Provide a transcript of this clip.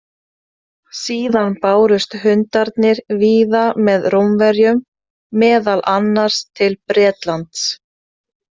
Síðan bárust hundarnir víða með Rómverjum, meðal annars til Bretlands.